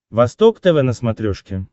восток тв на смотрешке